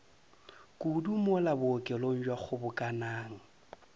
kudu mola bookelong bja kgobokanang